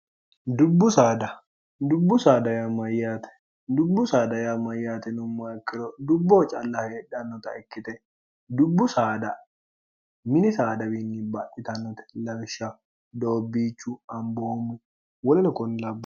dubbu addubbu saadaya mayyaate dubbu saadaya mayyaatino maakkiro dubboho calla heedhannota ikkite dubbu saada mini saadawiinni baaccitannote laishsha doobbiichu amboommo woline konlaabmo